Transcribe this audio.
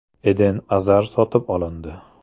Eden Azar sotib olindi.